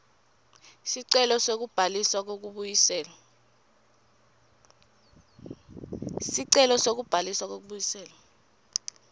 sicelo sekubhaliswa kwekubuyiselwa